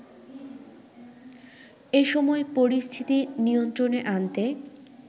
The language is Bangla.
এসময় পরিস্থিতি নিয়ন্ত্রণে আনতে